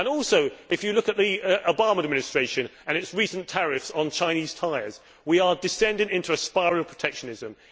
Also, if you look at the Obama Administration and its recent tariffs on Chinese tyres, we are descending into a spiral of protectionism.